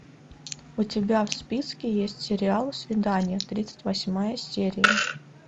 у тебя в списке есть сериал свидание тридцать восьмая серия